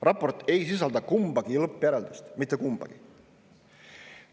Raport ei sisalda kumbagi lõppjäreldust – mitte kumbagi!